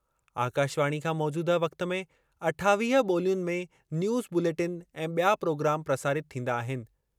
आकाशवाणी खां मौजूदह वक़्ति में अठावीह ॿोलियुनि में न्यूज़ बुलेटिन ऐं बि॒या प्रोग्राम प्रसारित थींदा आहिनि।